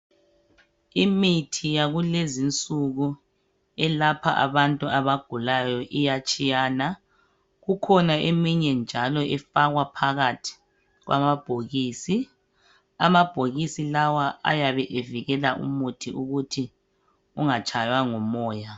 Imithi yakulezinsuku elapha abantu abagulayo iyatshiyana kukhona eminye njalo efakwa phakathi kwamabhokisi. Amabhokisi lawa ayabe evikela umuthi ukuthi ungatshaywa ngumoya.